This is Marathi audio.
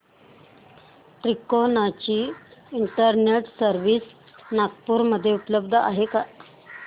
तिकोना ची इंटरनेट सर्व्हिस नागपूर मध्ये उपलब्ध आहे का